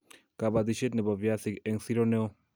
kabatishiet nebo viazinik eng' sero neo